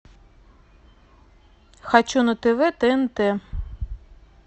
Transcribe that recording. хочу на тв тнт